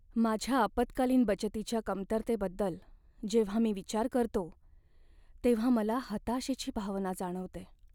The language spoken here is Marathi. माझ्या आपत्कालीन बचतीच्या कमतरतेबद्दल जेव्हा मी विचार करतो, तेव्हा मला हताशेची भावना जाणवते.